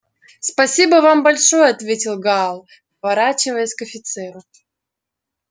спасибо вам большое ответил гаал поворачиваясь к офицеру